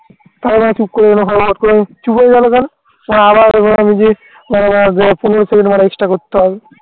আমি ভাবলাম ফট করে তুই চুপ করে গেল কেন আমি আবার পনের সেকেন্ড বাঁড়াextra করতে হবে